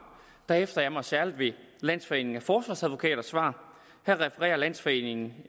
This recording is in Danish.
hæfter jeg mig særlig ved landsforeningen af forsvarsadvokaters svar her refererer landsforeningen